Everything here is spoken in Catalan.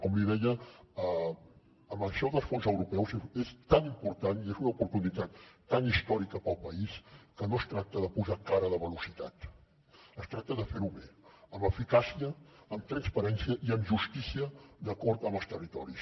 com li deia això dels fons europeus és tan important i és una oportunitat tan històrica pel país que no es tracta de posar cara de velocitat es tracta de fer ho bé amb eficàcia amb transparència i amb justícia d’acord amb els territoris